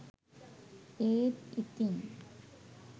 ඒත් ඉතින්